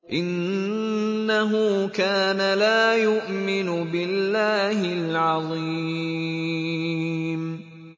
إِنَّهُ كَانَ لَا يُؤْمِنُ بِاللَّهِ الْعَظِيمِ